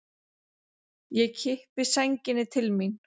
Ég kippi sænginni til mín.